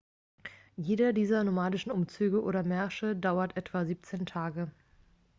jeder dieser nomadischen umzüge oder märsche dauert etwa 17 tage